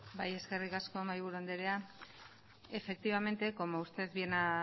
bai eskerrik asko mahaiburu andrea efectivamente como usted bien ha